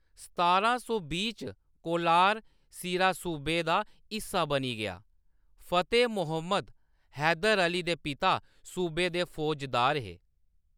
सतारां सौ बीह् च, कोलार, सीरा सूबे दा हिस्सा बनी गेआ, फतेह मुहम्मद, हैदर अली दे पिता, सूबे दे फौजदार हे।